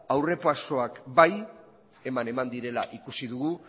aurrera pausoak bai eman direla ikusi dugu